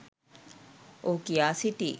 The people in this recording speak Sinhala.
ඔහු කියා සිටියි